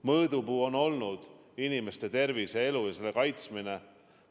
Mõõdupuu on olnud inimeste tervis ja elu ja nende kaitsmine.